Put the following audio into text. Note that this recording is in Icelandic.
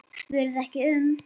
spurði ekki um